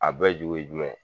A bɛ ju ye jumɛn ?